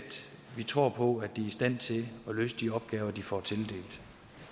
vi tror på at de er i stand til at løse de opgaver de får tildelt